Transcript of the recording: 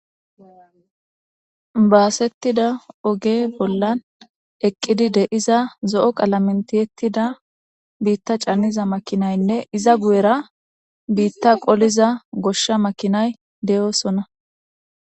Baasettida oge bollan eqqidi deiza zo'o qalamentiyettida biitta canniza makinaynne iza guyera biitta qoliza goshsha makinay de'oosonna.